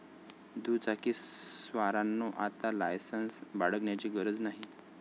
दुचाकीस्वारांनो, आता लायसन्स बाळगण्याची गरज नाही!